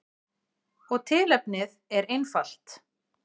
Og tilefnið er einfalt.